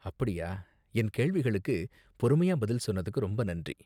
அப்படியா. என் கேள்விகளுக்கு பொறுமையா பதில் சொன்னதுக்கு ரொம்ப நன்றி.